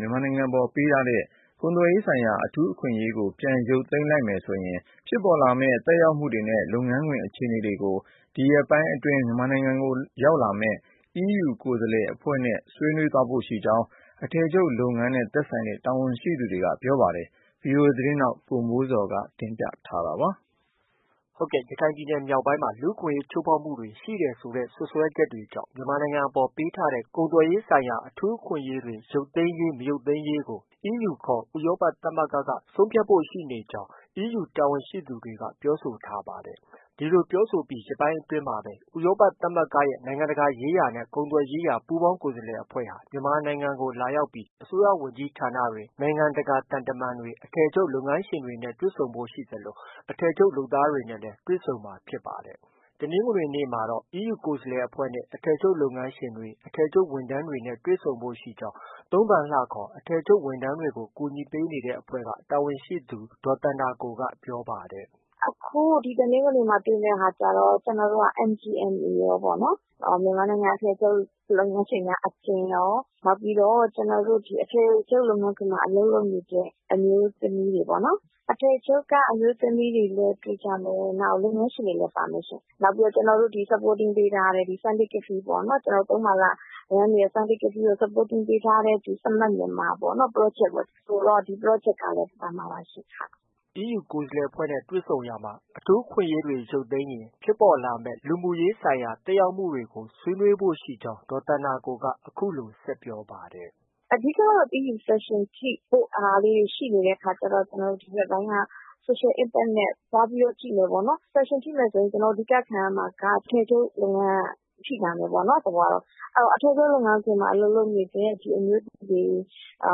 မြန်မာနိုင်ငံအပေါ် ပေးထားတဲ့ ကုန်သွယ်ရေးဆိုင်ရာ အထူးအခွင့်အရေးတွေ ရုပ်သိမ်းပေးလိုက်ရင် ဖြစ်ပေါ်လာမယ့် သက်ရောက်မှုတွေနဲ့ လုပ်ငန်းခွင့်အခြေအနေတွေကို ဆွေးနွေးဖို့ ရှိကြောင်း အထည်ချုပ်လုပ်ငန်း တာဝန်ရှိသူတွေနဲ့ အထည်ချုပ် ဝန်ထမ်းတွေကို ကူညီနေတဲ့ အဖွဲ့အစည်း တာဝန်ရှိသူတွေက ပြောဆိုပါတယ်။ဒီသတင်းကိုတော့ ဗွီအိုအေမြန်မာပိုင်းရဲ့သတင်းထောက် ကိုမိုးဇော်က တင်ပြထားပါတယ်။ ရခိုင်ပြည်နယ်မြောက်ပိုင်းမှာ လူ့အခွင့်အရေးချိုးဖောက်မှုတွေရှိတယ်ဆိုတဲ့ စွပ်စဲွဲချက်တွေကြောင့် မြန်မာနိုင်ငံအပေါ် ပေးထားတဲ့ ကုန်သွယ်ရေးဆိုင်ရာ အထူးအခွင့်အရေးတွေ ရုပ်သိမ်းရေး၊ မရုပ်သိမ်းရေးကို EU ခေါ် ဥရောပ သမဂ္ဂက ဆုံးဖြတ်ဖို့ ရှိနေတဲ့အကြောင်း EU တာဝန်ရှိသူတွေကပြောဆိုထားပါတယ်။ ဒီလို ပြောဆိုပြီး ရက်ပိုင်းအတွင်းမှာပဲ ဥရောပ သမဂ္ဂရဲ့ နိုင်ငံတကာရေးရာနဲ့ ကုန်သွယ်ရေးရာ ပူးပေါင်းကိုယ်စားလှယ်အဖွဲ့ဟာ မြန်မာနိုင်ငံကို လာရောက်ပြီး အစိုးရဝန်ကြီးဌာနတွေ၊ နိုင်ငံတကာ သံတမန်တွေ၊ အထည်ချုပ်လုပ်ငန်းရှင်တွေနဲ့တွေ့ဆုံဖို့ရှိသလို အထည်ချုပ် လုပ်သားတွေနဲ့လည်းတွေ့ဆုံမှာ ဖြစ်ပါတယ်။ တနင်္ဂနွေ့မှာတော့ EU ကိုယ်စားလှယ်အဖွဲ့နဲ့ အထည်ချုပ်လုပ်ငန်းရှင်တွေ၊ အထည်ချုပ်ဝန်ထမ်းတွေနဲ့ တွေ့ဆုံဖို့ ရှိကြောင်း သုံးပန်လှခေါ် အထည်ချုပ်ဝန်ထမ်းတွေကို ကူညီနေတဲ့အဖွဲ့ရဲ့ တာဝန်ရှိသူ ဒေါ်သန္တာကိုက ပြောပါတယ်။ “ အခု ဒီတနင်္ဂနွေမှာ တွေ့မယ့်ဟာကျတော့ ကျနော်တို့ MGMA ရောပေါ့နော်။မြန်မာနိုင်ငံအထည်ချုပ်လုပ်ငန်းရှင်များ အသင်းရော၊ နောက်ပြီးတော့ အထည်ချုပ်လုပ်ငန်းခွင်မှာ အလုပ်လုပ်နေတဲ့ အမျိုးသမီးတွေပေါ့နော် ။အထည်ချုပ်က အမျိုးသမီးတွေလည်းတွေ့ကြမယ်။ နောက် လုပ်ငန်းရှင်တွေရောပေါ့နော်။ နောက်ပြီးတော့ ကျနော်တို့ supporting ပေးထားတဲ့ Sunday Café ပေါ့နော်။ သုံးပန်လှ run နေတဲ့ Sunday Café ရော။ Supporting ပေးထားတဲ့ Smart Myanmar project ပေါ့။ ဒီProject ကလည်း ပါမှာပါရှင့်။ ” EU ကိုယ်စားလှယ်အဖွဲ့နဲ့ တွေ့ဆုံရာမှာ အထူးအခွင့်အရေးတွေ ရုတ်သိမ်းရေးရင် လူမှု့ရေးဆိုင်ရာ သက်ရောက်မှုတွေအပေါ် ဆွေးနွေးဖို့ ရှိကြောင်း ဒေါ်သန္တာကိုက အခုလို ဆက်ပြောပါတယ်။ “ အဓိကကတော့ EU Sanction ထိဖို့ ရှိနေတဲ့အခါကျတော့ ဒီဘက်ပိုင်းက Social Impact နဲ့ သွားကြည့်မယ်ပေါ့နော်။ Sanction ထိမယ်ဆိုရင် အဓိက ခံရမှာက အထည်ချုပ်လုပ်ငန်းက ထိလာမယ်ပေါ့နော်။ သဘောက။ အဲတော့ အထည်ချုပ်လုပ်ငန်းမှာ အလုပ်လုပ်နေတဲ့ အမျိုးသမီးတွေ အ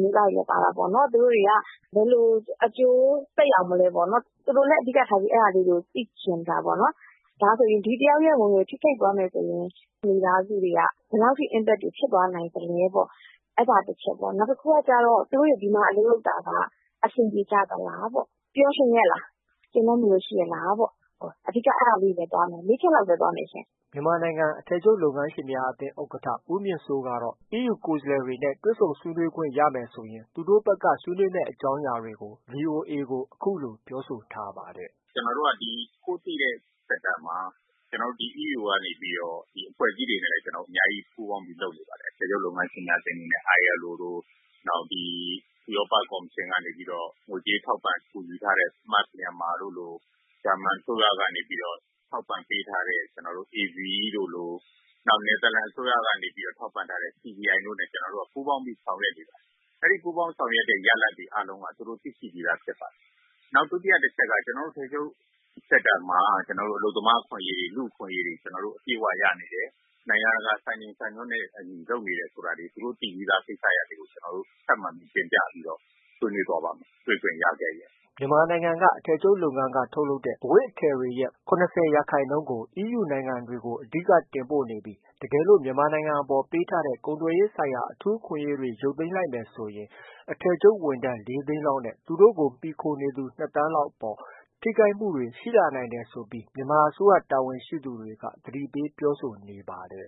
မျိုးသားတွေလည်း ပါတာပေါ့နော် သူတို့တွေက ဘယ်လို အကျိုးသက်ရောက်မလဲပေါ့နော်။ သူတို့လည်း အဓိက ထားပြီး အဲဒါလေးတွေကို သိချင်တာပေါ့နော်။ ဒါဆိုရင် ဒီတယောက်ရဲ့ ဝင်ငွေ ထိခိုက်သွားမယ်ဆိုရင် မိသားစုတွေက ဘယ်လောက်ထိ impact ဖြစ်သွားနိုင်သလဲပေါ့။ နောက်တခုကကျတော့ သူတို့တွေ ဒီမှာ အလုပ်လုပ်တာက အဆင်ပြေကြသလား။ ပျော်ရွှင်ရဲ့လား။ ကျေနပ်မှုရောရှိရဲ့လားပေါ့။ အဓိက အဲဒါလေးတွေ သွားမယ်။ ၄ချက်လောက်ပဲ သွားမယ်ရှင့်။” မြန်မာနိုင်ငံ အထည်ချုပ်လုပ်ငန်းရှင်များအသင်း ဥက္ကဋ္ဌ ဦးမြင့်စိုး ကတော့အီးယူဘက်က ကိုယ်စားလှယ်တွေနဲ့ တွေ့ဆုံဆွေးနွေးခွင့်ရမယ်ဆိုရင် သူတို့ဘက်က ဆွေးနွေးမယ့် အကြောင်းအရာတွေကို VOA အခုလို ပြောဆိုထားပါတယ်။ " ကျနော်တို့က ဒီကိုယ်သိတဲ့ Sector မှာ ကျနော်တို့ ဒီ EU က အဖွဲ့အစည်းတွေနဲ့ အများကြီးပူးပေါင်းပြီး လုပ်နေပါတယ်။ အထည်ချုပ်လုပ်ငန်းရှင်များအသင်းအနေနဲ့ ILO လို၊ နောက် ဥရောပကော်မရှင်က ငွေကြေးထောက်ပံ့ကူညီထားတဲ့ Smart Myanmar တို့လို၊ ဂျာမနီအစိုးရက ထောက်ပံ့ပေးထားတဲ့ AVE တို့လို၊ နယ်သာလန်အစိုးရက ထောက်ပံ့ထားတဲ့ CDI တို့နဲ့ ကျနော်တို့ ပူးပါင်းပြီး ဆောင်ရွက်နေပါတယ်။ ဒီလို ပူးပေါင်းပြီး ဆောင်ရွက်တဲ့ ရလဒ်အားလုံးကို သူတို့ သိရှိပြီးသားဖြစ်ပါတယ်။ နောက် ဒုတိယ တချက်က ကျနော်တို့ အထည်ချုပ် Sector မှာ အလုပ်သမားအခွင့်အရေးတွေ အပြည့်အဝရနေတယ်။ နိုင်ငံတကာ စံချိန်စံညွှန်းတွေနဲ့ အညီ လုပ်နေတယ်ဆိုတာတွေကို သူတို့ သိပြီးသားကိစ္စတွေကို တင်ပြဆွေးနွေးသွားပါ့မယ်။ တွေ့ခွင့်ရခဲ့ရင်။" မြန်မာနိုင်ငံက အထည်ချုပ်လုပ်ငန်းတွေက ထုတ်လုပ်တဲ့ အဝတ်အထည်တွေရဲ့ ၇၀ ရာခိုင်နှုန်း EU နိုင်ငံတွေကို အဓိက တင်ပို့နေပြီး တကယ်လို့မြန်မာနိုင်ငံအပေါ် ပေးထားတဲ့ ကုန်သွယ်ရေးဆိုင်ရာ အထူးအခွင့်အရေးတွေ ရုတ်သိမ်းရေးလိုက်မယ်ဆိုရင် အထည်ချုပ်ဝန်ထမ်း ၄သိန်းလောက် နဲ့ သူတို့ကို မှီခိုနေသူ ၂ သန်းလောက်အပေါ် ထိခိုက်မှုတွေ ရှိလာနိုင်တယ်ဆိုပြီး မြန်မာအစိုးရတာဝန်ရှိသူတွေက သတိပေးပြောဆိုနေပါတယ်